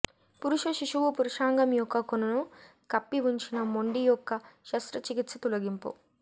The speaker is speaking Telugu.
పురుష శిశువు పురుషాంగం యొక్క కొనను కప్పి ఉంచిన మొండి యొక్క శస్త్రచికిత్స తొలగింపు